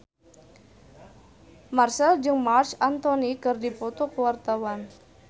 Marchell jeung Marc Anthony keur dipoto ku wartawan